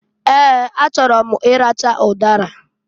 Ee! A chọrọ m i racha ụdara.